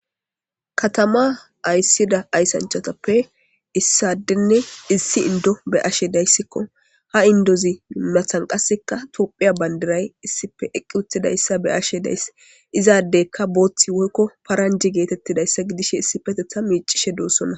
Katama ayssida ayssanchatappe issadenne issi indo be ashe dayssikko ha indozi mimathan qasseka tophiya bandiray issife eqqi utidayssa be ashe dayss izaadeykka booththi woykko paranji geetettidayssa gidishe issi petetha miicishe doossonna